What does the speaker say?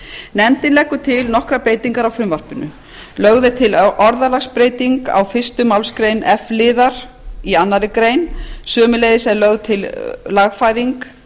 nefndin leggur til nokkrar breytingar á frumvarpinu lögð er til orðalagsbreyting á fyrstu málsgrein f liðar annarrar greinar sömuleiðis er lögð til lagfæring